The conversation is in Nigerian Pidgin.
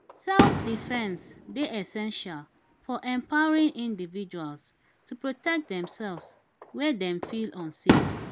self-defense dey essential for empowering individuals to protect themself where dem feel unsafe.